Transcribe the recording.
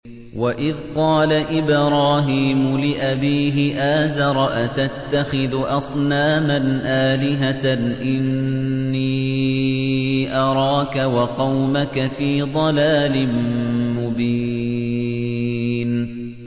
۞ وَإِذْ قَالَ إِبْرَاهِيمُ لِأَبِيهِ آزَرَ أَتَتَّخِذُ أَصْنَامًا آلِهَةً ۖ إِنِّي أَرَاكَ وَقَوْمَكَ فِي ضَلَالٍ مُّبِينٍ